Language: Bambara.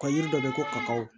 Ka yiri dɔ bɛ ko kaw